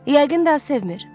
Yəqin daha sevmir.